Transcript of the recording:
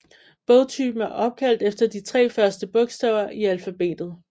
Bogtypen er opkaldt efter de tre første bogstaver i alfabetet